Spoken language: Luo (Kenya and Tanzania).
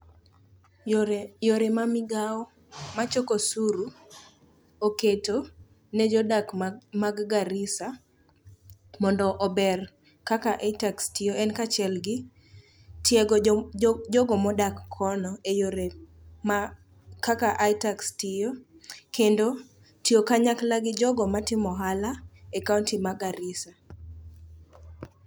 Yore ma migao machoko osuru oketo ne jodak mag Garissa mondo ober kaka itax tiyo en kaachiel gi tiego jogo modak kono e yore ma kaka itax tiyo kendo tiyo kanyakla gi jogo matimo ohala e kaonti ma Garissa.